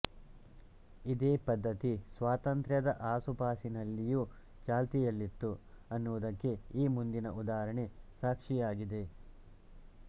ಇದೇ ಪದ್ಧತಿ ಸ್ವಾತಂತ್ರ್ಯದ ಆಸುಪಾಸಿನಲ್ಲಿಯೂ ಚಾಲ್ತಿಯಲ್ಲಿತ್ತು ಅನ್ನುವುದಕ್ಕೆ ಈ ಮುಂದಿನ ಉದಾಹರಣೆ ಸಾಕ್ಷಿಯಾಗಿದೆ